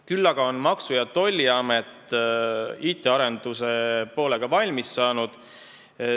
Küll aga on Maksu- ja Tolliamet IT-arenduse poolega valmis saanud.